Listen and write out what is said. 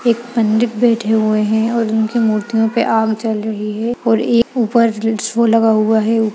एक पंडित बैठे हुए हैं और उनकी मूर्तियों पे आग जल रही है और एक ऊपर लगा हुआ है।